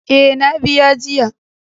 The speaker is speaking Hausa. Eh, na biya jiya.